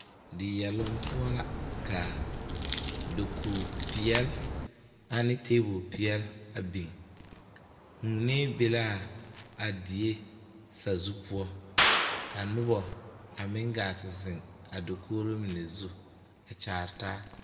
Diyɛloŋ poɔ la ka dakogi peɛle ane tebol peɛle a biŋ vuuni be la a die sazu poɔ ka noba poɔ a meŋ gaa te zeŋ a dakogri mine zu a kyaare taa.